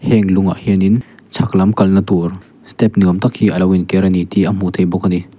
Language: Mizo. heng lungah hianin chhak lam kal na tur step ni awm tak hi alo in ker ani tih a hmuh theih bawk a ni.